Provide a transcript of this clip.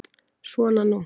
Svona nú.